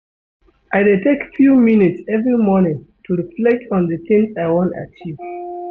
I dey take few minutes every morning to reflect on di tins I wan achieve.